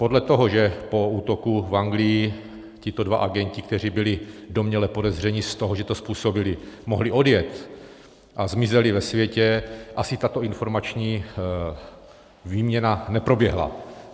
Podle toho, že po útoku v Anglii tito dva agenti, kteří byli domněle podezřelí z toho, že to způsobili, mohli odjet a zmizeli ve světě, asi tato informační výměna neproběhla.